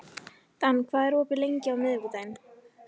Dan, hvað er opið lengi á miðvikudaginn?